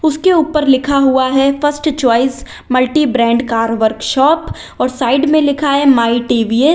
उसके ऊपर लिखा हुआ है first choice multi brand car workshop और साइड में लिखा है माई टी_वी_एस ।